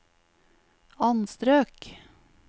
anstrøk